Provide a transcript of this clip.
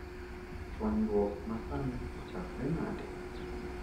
Chuanyruok ma sani ochakre nade?